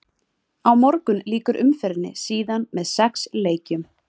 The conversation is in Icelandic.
Á morgun lýkur umferðinni síðan með sex leikjum.